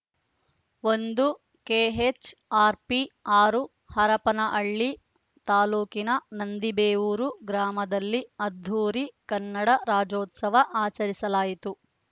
ಒಂದು K H R P ಆರು ಹರಪನಹಳ್ಳಿ ತಾಲೂಕಿನ ನಂದಿಬೇವೂರು ಗ್ರಾಮದಲ್ಲಿ ಅದ್ದೂರಿ ಕನ್ನಡ ರಾಜೋತ್ಸವ ಆಚರಿಸಲಾತು